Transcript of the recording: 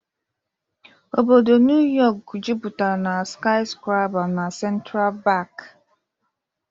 Obodo Neu Yok jupụtara na skiskrapa na Sentra Pak.